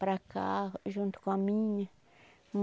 Para cá, junto com a minha.